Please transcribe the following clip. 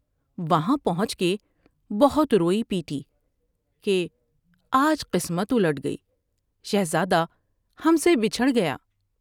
وہاں پہنچ کے بہت روئی پیٹی کہ " آج قسمت الٹ گئی۔ شہزادہ ہم سے بچھڑ گیا ۔